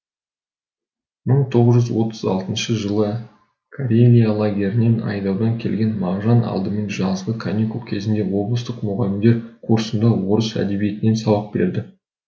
мың тоғыз жүз отыз алтыншы жылы карелия лагерінен айдаудан келген мағжан алдымен жазғы каникул кезінде облыстық мұғалімдер курсында орыс әдебиетінен сабақ береді